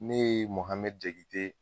Ne ye Muhamɛdi Diyakite.